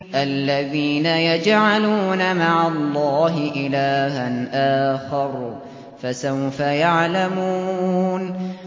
الَّذِينَ يَجْعَلُونَ مَعَ اللَّهِ إِلَٰهًا آخَرَ ۚ فَسَوْفَ يَعْلَمُونَ